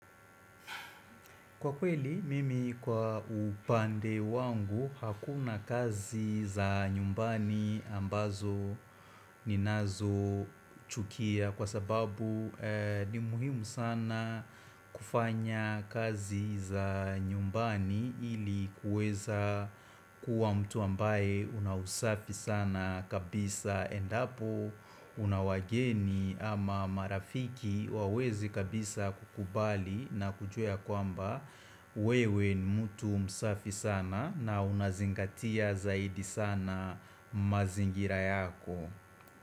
Kwa kweli, mimi kwa upande wangu, hakuna kazi za nyumbani ambazo ninazochukia kwa sababu ni muhimu sana kufanya kazi za nyumbani ili kuweza kuwa mtu ambaye una usafi sana kabisa endapo una wageni ama marafiki wawezi kabisa kukubali na kujua ya kwamba wewe ni mtu msafi sana na unazingatia zaidi sana mazingira yako.